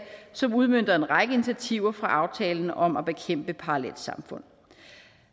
som udmønter en række initiativer fra aftalen om at bekæmpe parallelsamfund